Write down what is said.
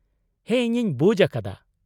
-ᱦᱮᱸ ᱤᱧᱤᱧ ᱵᱩᱡᱽ ᱟᱠᱟᱫᱟ ᱾